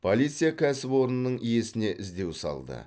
полиция кәсіпорынның иесіне іздеу салды